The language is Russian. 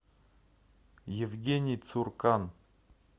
евгений цуркан